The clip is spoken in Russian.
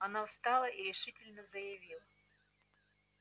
она встала и решительно заявила